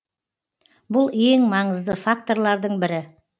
бұл ең маңызды факторлардың бірі